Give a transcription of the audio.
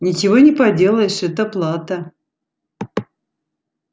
ничего не поделаешь это плата